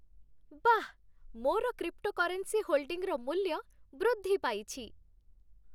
ବାଃ! ମୋର କ୍ରିପ୍ଟୋକରେନ୍ସି ହୋଲ୍ଡିଂର ମୂଲ୍ୟ ବୃଦ୍ଧିପାଇଛି।